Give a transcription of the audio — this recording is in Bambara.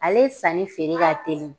Ale san ni feere ka telin.